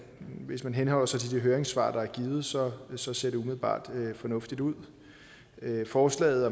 hvis man henholder sig til de høringssvar der er givet så så ser det umiddelbart fornuftigt ud forslaget